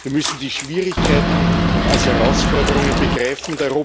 Wir müssen die Schwierigkeiten als Herausforderungen begreifen.